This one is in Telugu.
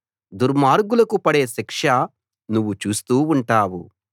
దుర్మార్గులకు పడే శిక్ష నువ్వు చూస్తూ ఉంటావు